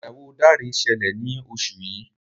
ìgbéyàwó Dare ṣẹlẹ ní oṣù yí.